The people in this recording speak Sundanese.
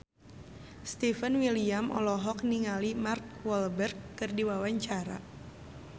Stefan William olohok ningali Mark Walberg keur diwawancara